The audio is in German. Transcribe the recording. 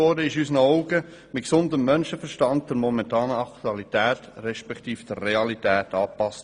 In unseren Augen wurde das Gesetz der momentanen Aktualität respektive Realität angepasst.